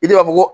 I de b'a fɔ ko